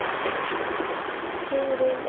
Hugrún: Skilið að fá hærri laun?